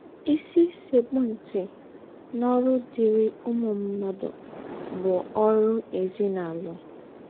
“ Ìsì sẹ́kpù ntị n’ọ́rụ̀ dịrị̀ ǔmū mmádụ bụ̀ ọ́rụ̀ èzínàlụ́.... ”